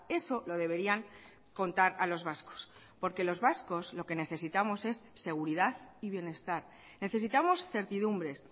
eso lo deberían contar a los vascos porque los vascos lo que necesitamos es seguridad y bienestar necesitamos certidumbres